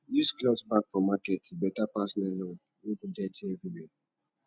use cloth bag for market e better pass nylon wey go dirty everywhere